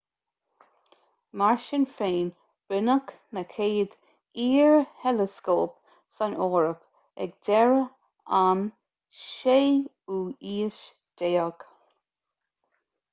mar sin féin rinneadh na chéad fhíor-theileascóip san eoraip ag deireadh an 16ú haois